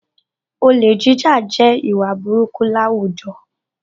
Olè jíjà jẹ́ ìwà búburú láwùjọ